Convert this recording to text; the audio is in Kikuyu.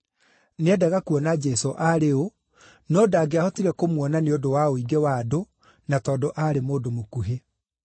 Nĩendaga kuona Jesũ aarĩ ũ, no ndangĩahotire kũmuona nĩ ũndũ wa ũingĩ wa andũ, na tondũ aarĩ mũndũ mũkuhĩ.